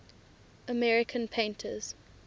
american painters